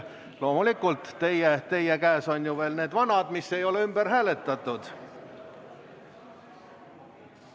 Loomulikult, teie käes on veel need vanad päevakorrad, mida ei ole hääletatud.